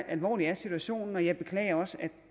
alvorlig er situationen og jeg beklager også at